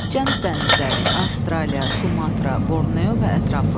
Cənub dənizləri, Avstraliya, Sumatra, Borneo və ətrafı.